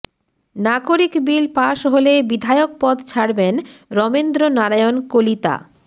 নাগরিক bill pass হলে বিধায়ক পদ ছাড়বেন রমেন্দ্ৰ নারায়ণ কলিতা